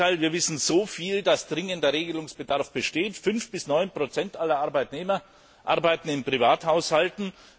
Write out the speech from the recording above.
Im Gegenteil, wir wissen so viel, dass dringender Regelungsbedarf besteht. 5 bis 9 aller Arbeitnehmer arbeiten in Privathaushalten.